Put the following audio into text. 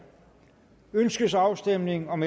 ønskes afstemning om